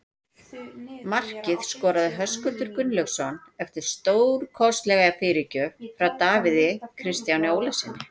Markið skoraði Höskuldur Gunnlaugsson eftir stórkostlega fyrirgjöf frá Davíð Kristjáni Ólafssyni.